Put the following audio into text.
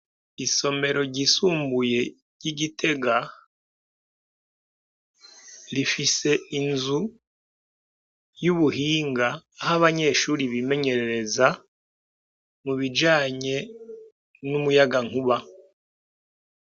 Isomero ryisumbuye ry'i Gitega, rifise inzu y'ubuhinga, aho abanyeshure bimenyerereza mu bijanye n'umuyagankuba.